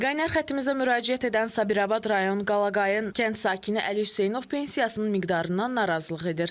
Qaynar xəttimizə müraciət edən Sabirabad rayon Qalaqayın kənd sakini Əli Hüseynov pensiyasının miqdarından narazılıq edir.